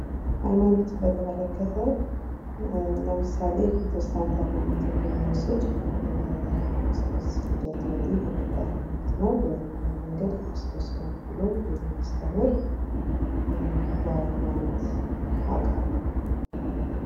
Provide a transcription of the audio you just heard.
ሃይማኖትን በተመለከተ ለምሳሌ ጴንጤ ማነው ትክክል ነው ስትቀባጥር ሦስት ልደት ወዲህ የሚታይ ማንነትና ምንነት እና መንገድ በሽታው ስር ነው ብሎ የሚያስተምር. የሃይማኖት አካል ነው.